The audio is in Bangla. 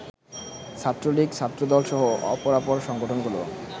ছাত্রলীগ, ছাত্রদলসহ অপরাপর সংগঠনগুলো